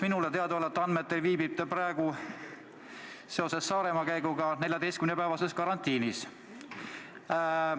Minule teadaolevatel andmetel viibib ta ise praegu Saaremaa-käigu tõttu 14-päevases karantiinis.